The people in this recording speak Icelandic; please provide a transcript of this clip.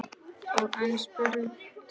Og enn er spurt.